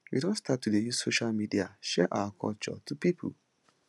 we don start to dey use social media share our culture to pipo